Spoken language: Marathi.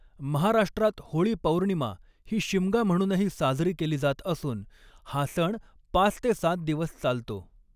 महाराष्ट्रात होळी पौर्णिमा ही शिमगा म्हणूनही साजरी केली जात असून हा सण पाच ते सात दिवस चालतो.